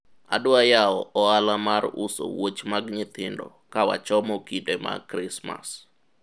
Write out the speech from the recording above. adwa yawo ohala mar uso wuoch mag nyithindo ka wachomo kinde mag krismas